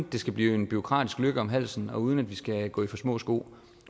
det skal blive en bureaukratisk løkke om halsen og uden at vi skal gå i for små sko